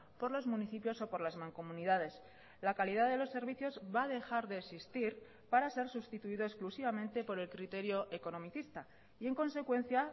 por los municipios o por las mancomunidades la calidad de los servicios va a dejar de existir para ser sustituido exclusivamente por el criterio economicista y en consecuencia